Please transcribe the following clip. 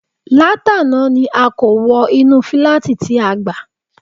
Látàná ni a kó wọ inú fíláàtì tí a gbà